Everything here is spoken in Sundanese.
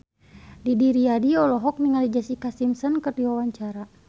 Didi Riyadi olohok ningali Jessica Simpson keur diwawancara